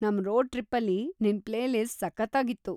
ನಮ್ ರೋಡ್ ಟ್ರಿಪ್ಪಲ್ಲಿ ನಿನ್‌ ಪ್ಲೇಲಿಸ್ಟ್‌ ಸಖತ್ತಾಗಿತ್ತು.